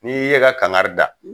N'iii ye ka kankari da